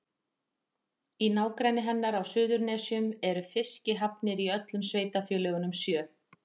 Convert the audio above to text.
Í nágrenni hennar á Suðurnesjum eru fiskihafnir í öllum sveitarfélögunum sjö.